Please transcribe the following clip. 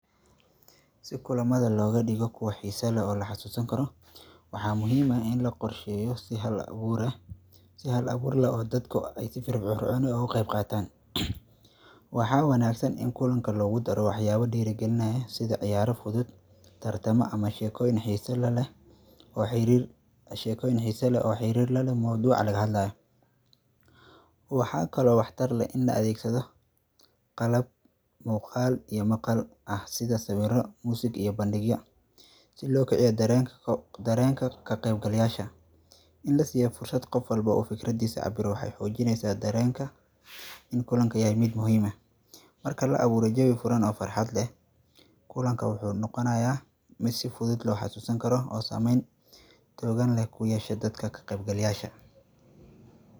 Waa muhiim ah in la qorsheeyo si hal-abuur leh si dadka sii firfircoonaan leh uga qayb qaataan. Waxa wanaagsan in kulanka lagu daro wax dhiirigelinayo sida ciyaaro fudud, tartamo, ama sheekooyin xiiso leh oo xiriir la leh mowduuca laga hadlayo. Waxa kale oo wax tar leh in la adeegsado qalab muuqaal iyo maqal ah sida sawirro iyo muusig si loo kiciyo dareenka ka qaybgalayaasha. In la siiyo fursad qof walba oo fikradiisa cabbiro waxay xoojineysaa dareenka in kulanka yahay mid muhiim ah, marka la abuuro jawi furan oo farxad leh. Kulanku wuu noqonayaa mid si fudud loo xasuusan karo oo saameyn xooggan ku yeesha dadka ka qaybgalayaasha.